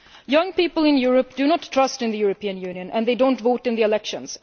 Young people in Europe do not trust in the European Union and they do not vote in the elections.